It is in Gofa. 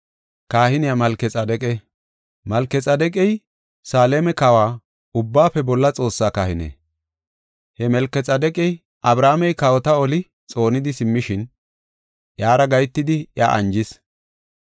Malkexaadeqey, Saleema Kawoy, Ubbaafe Bolla Xoossaa kahine. He Malkexaadeqi Abrahaamey kawota oli xoonidi simmishin iyara gahetidi iya anjis.